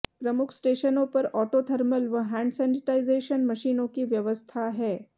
प्रमुख स्टेशनों पर ऑटो थर्मल व हैंड सेनेटाइजेशन मशीनों की व्यवस्था है